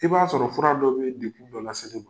I b'a sɔrɔ fura dɔ bee degun dɔ lase e ma